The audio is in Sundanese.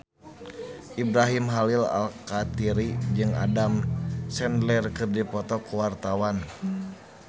Ibrahim Khalil Alkatiri jeung Adam Sandler keur dipoto ku wartawan